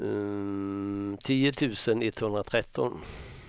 tio tusen etthundratretton